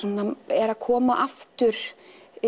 er að koma aftur